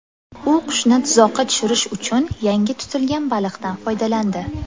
U qushni tuzoqqa tushirish uchun yangi tutilgan baliqdan foydalandi.